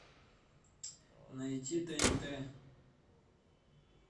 найти тнт